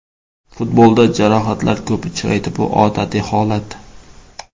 Futbolda jarohatlar ko‘p uchraydi, bu odatiy holat.